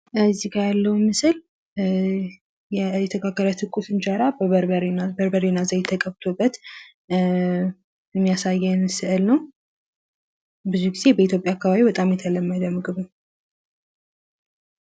ከዚህ ጋ ያለው ምስል የተጋገረ ትኩስ እንጀራ በርበሬና ዘይት ተቀብቶበት የሚያሳየን ስዕል ነው። ብዙ ጊዜ በኢትዮጵያ የተለመደ ምግብ ነው።